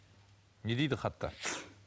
не дейді хатта